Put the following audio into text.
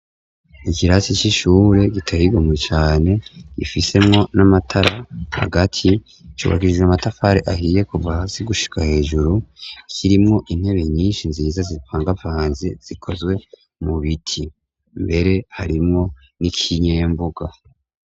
ikirasi c'ishure gityigomwe cane gifisemwo n'amatara hagati cubakishije matafare ahiye kuva hasi gushika hejuru kirimwo intebe nyinshi nziza zipangapanze zikozwe mu biti mbere harimwo n'ikinyembuga